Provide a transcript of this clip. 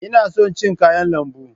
Ina son cin kayan lambu.